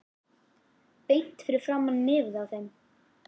Beint fyrir framan nefið á þeim.